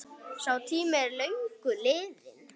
Sá tími er löngu liðinn.